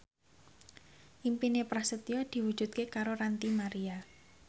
impine Prasetyo diwujudke karo Ranty Maria